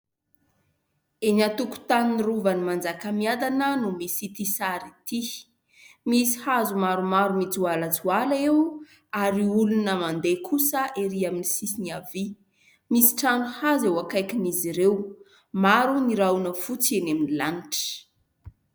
Eny antokotany rovan'ny Manjakamiadana no misy ity sary ity, misy hazo maromaro mijoalajoala eo ary olona mandeha kosa erỳ amin'ny sisiny havia, misy trano hazo eo akaikin'izy ; ireo maro ny rahona fotsy eny amin'ny lanitra.